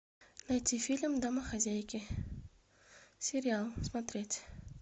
найти фильм домохозяйки сериал смотреть